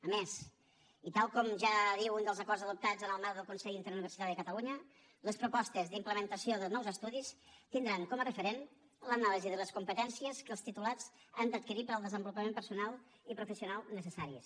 a més i tal com ja diu un dels acords adoptats en el marc del consell interuniversitari de catalunya les propostes d’implementació de nous estudis tindran com a referent l’anàlisi de les competències que els titulats han d’adquirir per al desenvolupament personal i professional necessaris